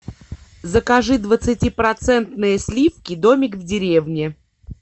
закажи двадцатипроцентные сливки домик в деревне